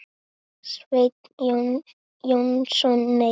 Sveinn Jónsson Nei.